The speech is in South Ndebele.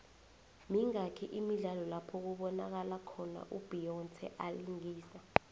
mingaki imidlalo lapho kubonakalo khona u beyonce alingisa